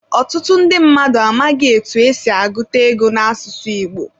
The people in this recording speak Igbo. Otutu ndi mmadu amaghi etu esi aguta ego n'asusu igbo.